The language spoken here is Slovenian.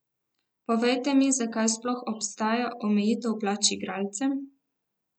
Povejte mi, zakaj sploh obstaja omejitev plač igralcem?